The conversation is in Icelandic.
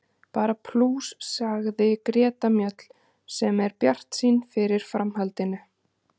Bara plús, sagði Greta Mjöll sem er bjartsýn fyrir framhaldinu.